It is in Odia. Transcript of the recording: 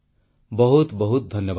ବହୁତ ବହୁତ ଧନ୍ୟବାଦ